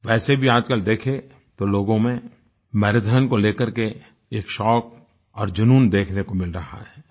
वैसे भी आजकल देखें तो लोगों में मैराथन को लेकर के एक शौक और जूनून देखने को मिल रहा है